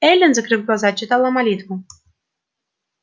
эллин закрыв глаза читала молитву